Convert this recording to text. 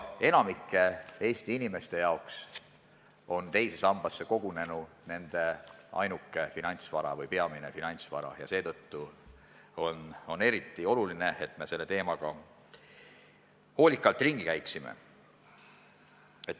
Enamiku Eesti inimeste jaoks on teise sambasse kogunenu nende ainuke finantsvara või peamine finantsvara ja seetõttu on eriti oluline, et me selle teemaga hoolikalt ringi käiksime.